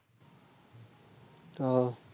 ও